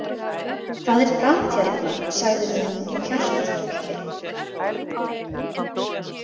Það er gat hérna, sagði hún og hjartað tók kipp.